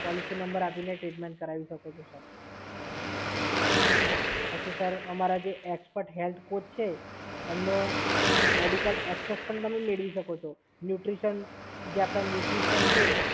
Policy number આપીને treatment કરાવી શકો છો, સર. પછી સર અમારા જે એક્સપર્ટ હેલ્થ કોટ છે એમનો મેડિકલ એક્સેસ પણ તમે મેળવી શકો છો. ન્યૂટ્રિશન જે આપણાં ન્યૂટ્રિશન્ટ છે